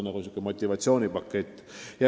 See on niisugune motivatsioonipakett.